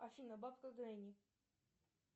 афина бабка гренни